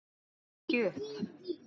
Hún gekk ekki upp.